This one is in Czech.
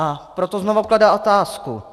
A proto znovu kladu otázku.